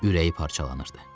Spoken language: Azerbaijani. Ürəyi parçalanırdı.